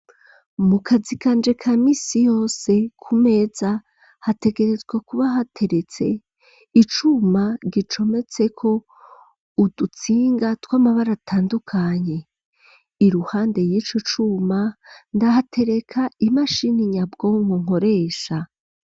Mu kazi kanje ka misi yose ku meza hategerezwa kuba hateretse icuma gicometseko udutsinga tw'amabara atandukanye i ruhande y'ico cuma ndahatereka imashini nyabwonko nkoresha.